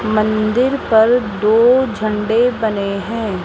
मंदिर पर दो झंडे बने हैं।